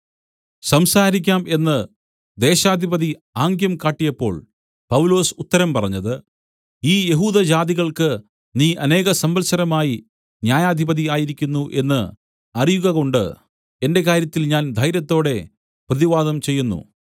സംസാരിക്കാം എന്ന് ദേശാധിപതി ആംഗ്യം കാട്ടിയപ്പോൾ പൗലൊസ് ഉത്തരം പറഞ്ഞത് ഈ യഹൂദജാതികൾക്ക് നീ അനേകസംവത്സരമായി ന്യായാധിപതി ആയിരിക്കുന്നു എന്ന് അറിയുകകൊണ്ട് എന്റെ കാര്യത്തിൽ ഞാൻ ധൈര്യത്തോടെ പ്രതിവാദം ചെയ്യുന്നു